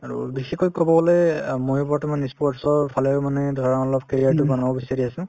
আৰু বেছিকৈ কব গলে অ মই বৰ্তমান ই sports ৰ ফালে মানে ধৰা অলপ career তো বনাব বিচাৰি আছো